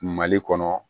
Mali kɔnɔ